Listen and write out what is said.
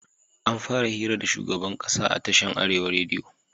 Anfara hira da shugaban ƙasa a tashin arewa rediyo